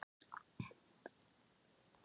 Hvað skyldu þau vera að gera núna?